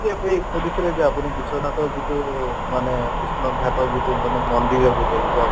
সুধিছিলে যে আপুনি বিশ্বনাথৰ যিটো মানে বিশ্বনাথ ঘাটৰ যিটো মানে মন্দিৰৰ